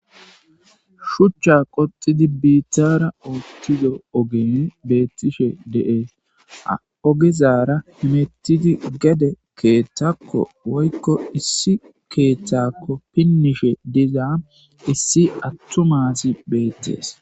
Shucha qoxidi bittara oothido ogey betishe de'es ha ogezara hemetidi gede keethako woyko issi keethako pinishe diza issi attuma asay beetes